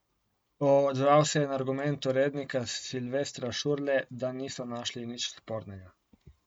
Odzval se je na argument urednika Silvestra Šurle, da niso našli nič spornega.